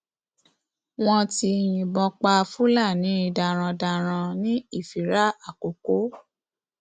wọn yìnbọn pa fúlàní darandaran ní ìfira àkókò